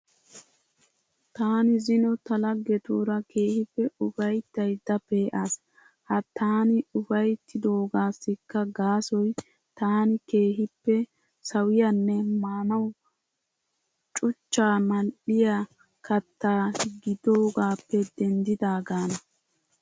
Taani zino ta laggetuura keehippe ufayittayiidda pe'aas. Ha taani ufayittidoogaassikka gaasoy taani keehippe sawiyanne maanawu cuchchaa mal'iya kattaa gidoogaappe denddidaagana.